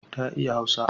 Ta iya Hausa.